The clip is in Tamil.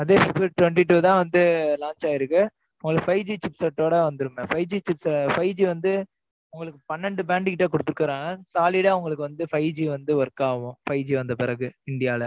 அதே february twenty two தான் வந்து, launch ஆயிருக்கு. உங்களுக்கு, five G chip ஓட வந்துருமே. five G chips வந்து, உங்களுக்கு, பன்னெண்டு brand கிட்ட, குடுத்திருக்கிறாங்க. solid ஆ உங்களுக்கு வந்து, five G வந்து, work ஆகும். five G வந்த பிறகு இந்தியால.